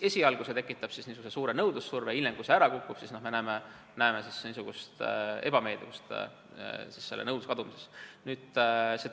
Esialgu see tekitab nõudlussurve, aga hiljem, kui see ära kukub, siis küllap peame nõudluse kadumist ebameeldivaks.